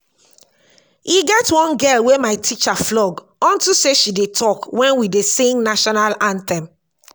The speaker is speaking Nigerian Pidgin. e get one girl wey my teacher flog unto say she dey talk wen we dey sing national anthem